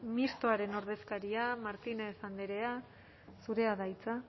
mistoaren ordezkaria martínez andrea zurea da hitza